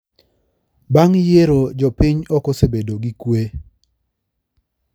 Bang`yiero jo-piny okosebedo gi kwee